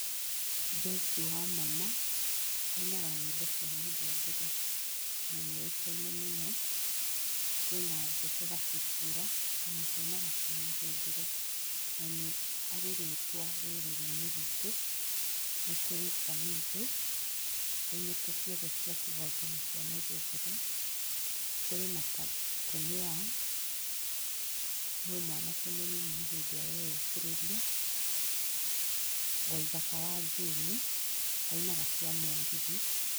Joyce Wamama, ainaga nyĩmbo cia mũthũngũtho na nĩoĩkaine mũno. Jose Gatutura onake ainaga cia mũthũngũtho na nĩarĩ rĩtwa rũrĩrĩ-inĩ rwitũ. Nĩkũrĩ Samido, ainĩte cothe cia kĩgoco na cia mũthũngũtho, kũrĩ na Tonny Young, no mwanake mũnini nĩ hĩndĩ areyũkĩrĩria. Waithaka wa Jane, ainaga cia mũgithi.